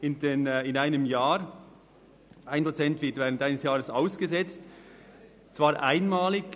1 Prozent wird während eines Jahres ausgesetzt, und zwar einmalig.